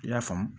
I y'a faamu